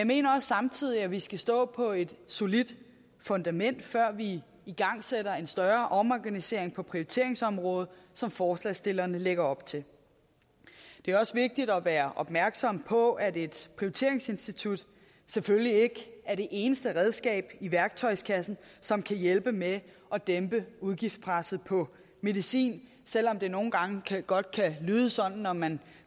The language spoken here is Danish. mener samtidig at vi skal stå på et solidt fundament før vi igangsætter en større omorganisering på prioriteringsområdet som forslagsstillerne lægger op til det er også vigtigt at være opmærksom på at et prioriteringsinstitut selvfølgelig ikke er det eneste redskab i værktøjskassen som kan hjælpe med at dæmpe udgiftspresset på medicin selv om det nogle gange godt kan lyde sådan når man